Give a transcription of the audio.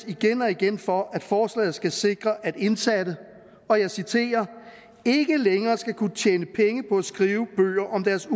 igen og igen for at forslaget skal sikre at indsatte og jeg citerer ikke længere skal kunne tjene penge på at skrive bøger om deres